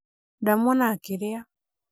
ndamũona akĩrĩa